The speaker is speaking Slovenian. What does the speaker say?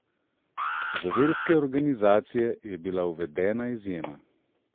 Za verske organizacije je bila uvedena izjema.